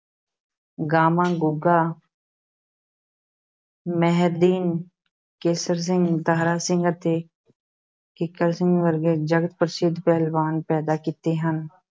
ਗਾਮਾ, ਗੂੰਗਾ ਮੇਹਰਦੀਨ, ਕੇਸਰ ਸਿੰਘ, ਦਾਰਾ ਸਿੰਘ ਅਤੇ ਕਿੱਕਰ ਸਿੰਘ ਵਰਗੇ ਜਗਤ-ਪ੍ਰਸਿੱਧ ਪਹਿਲਵਾਨ ਪੈਦਾ ਕੀਤੇ ਹਨ,